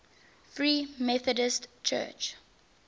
free methodist church